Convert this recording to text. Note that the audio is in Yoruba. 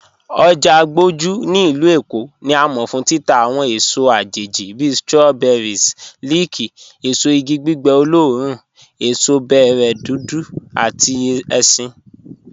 Ojá Àgbójú ní ilù Èkó ni à mọ̀ fún títà awọn èsò àjẹjì bí strawberries, leek, èsò ìgì gbígbẹ̀ oloorùn, èsò bẹ̀rẹ̀ dúdú àti èṣin.